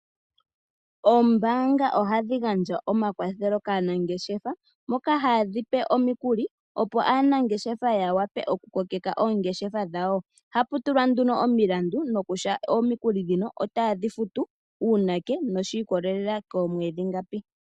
Oombaanga ohadhigandja omakwathelo kaanangeshefa mokaa haadhipe omikuli. Opo aanangeshefa ya wape okukokeka oongeshefa dhawo. Ohapu tulwa nduno omilandu nokutya omikuli dhino otaadhi futu uunake noshiikolelela koomwedhi ngapi.